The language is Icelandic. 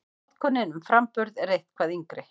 Notkunin um framburð er eitthvað yngri.